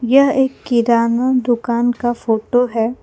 यह एक किराना दुकान का फोटो है।